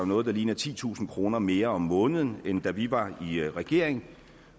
noget der ligner titusind kroner mere om måneden end da vi var i regering